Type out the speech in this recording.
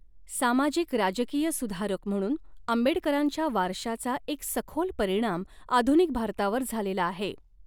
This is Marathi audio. सामाजिक राजकीय सुधारक म्हणून आंबेडकरांच्या वारशाचा एक सखोल परिणाम आधुनिक भारतावर झालेला आहे.